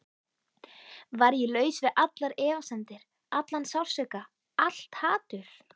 Var ég laus við allar efasemdir, allan sársauka, allt hatur?